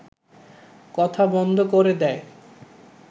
কথা বন্ধ করে দেয়